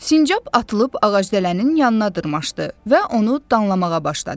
Sincab atılıb ağacdələnin yanına dırmaşdı və onu danlamağa başladı.